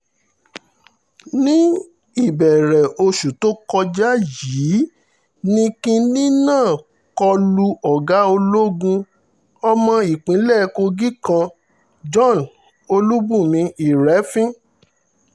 ní ìbẹ̀rẹ̀ oṣù tó kọjá yìí ní kinní náà kó lu ọ̀gá ológun ọmọ ìpínlẹ̀ kogi kan john olùbùnmi irẹfin